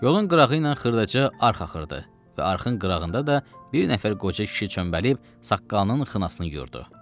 Yolun qırağı ilə xırdaca arx axırdı və arxın qırağında da bir nəfər qoca kişi çömbəlib saqqalının xınasını yuyurdu.